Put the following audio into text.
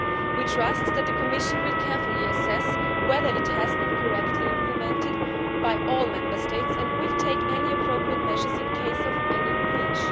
We trust that the Commission will carefully assess whether it has been correctly implemented by all Member States and will take any appropriate measures in the case of any breach.